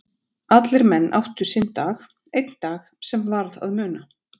Allir menn áttu sinn dag, einn dag sem varð að muna.